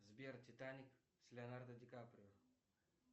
сбер титаник с леонардо дикаприо